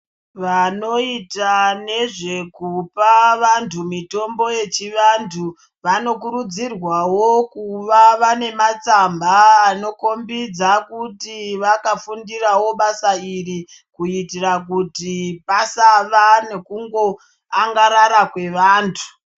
Vanoita nezvekupa vantu mitombo yechivantu, vanokurudzirwawo kuva vane matsamba anokhombidza kuti vakafundirawo basa iri, kuitira kuti pasava nekungoangarara kwevantu.